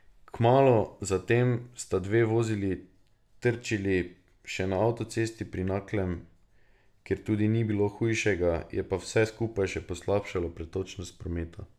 Kmalu za tem sta dve vozili trčili še na avtocesti pri Naklem, kjer tudi ni bilo hujšega, je pa vse skupaj še poslabšalo pretočnost prometa.